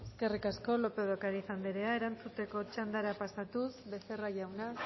eskerrik asko lópez de ocariz anderea erantzuteko txandara pasatuz becerra jauna